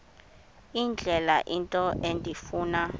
indlela into endifuna